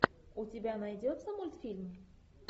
у тебя найдется мультфильм